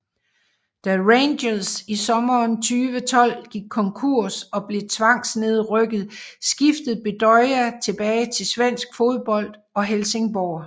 Da Rangers i sommeren 2012 gik konkurs og blev tvangsnedrykket skiftede Bedoya tilbage til svensk fodbold og Helsingborg